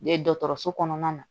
E dɔgɔtɔrɔso kɔnɔna na